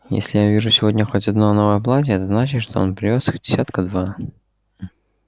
если я увижу сегодня хоть одно новое платье это значит что он привёз их десятка два